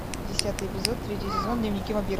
десятый эпизод третий сезон дневники вампира